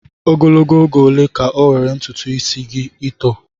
Ogologo oge ole ka ọ nwere ntutu ito eto?